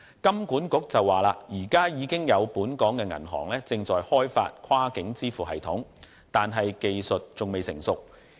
金管局指出，現時已有本港銀行正在開發跨境支付系統，但技術仍未成熟。